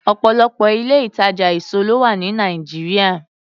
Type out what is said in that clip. Ọ̀pọ̀lọpọ̀ ilé-ìtàjà èso ló wà ní Nàìjíríà.